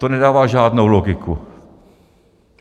To nedává žádnou logiku.